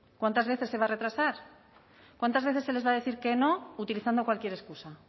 cuántas veces se va a retrasar cuántas veces se les va a decir que no utilizando cualquier excusa